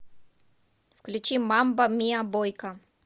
включи мамба миа бойка